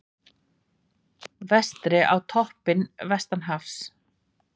Vestri á toppinn vestanhafs